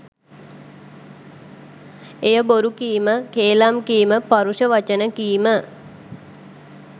එය බොරු කීම, කේලාම් කීම, පරුෂ වචන කීම,